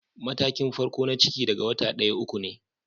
Matakin farko na ciki daga wata daya- uku ne.